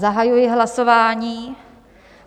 Zahajuji hlasování.